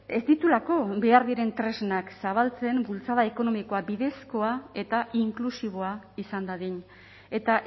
ez dituelako behar diren tresnak zabaltzen bultzada ekonomikoa bidezkoa eta inklusiboa izan dadin eta